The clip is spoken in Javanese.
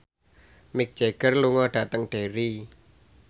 Mick Jagger lunga dhateng Derry